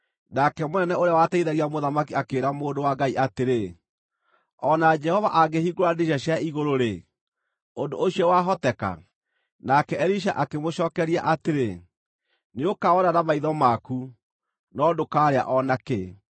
Nake mũnene ũrĩa wateithagia mũthamaki akĩĩra mũndũ wa Ngai atĩrĩ, “O na Jehova angĩhingũra ndirica cia igũrũ-rĩ, ũndũ ũcio wahoteka?” Nake Elisha akĩmũcookeria atĩrĩ, “Nĩũkawona na maitho maku, no ndũkaarĩa o na kĩ!”